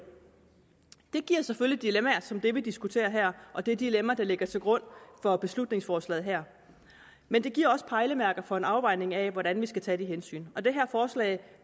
det giver selvfølgelig dilemmaer som det vi diskuterer her og det dilemma der ligger til grund for beslutningsforslaget her men det giver også pejlemærker for en afvejning af hvordan vi skal tage de hensyn og det her forslag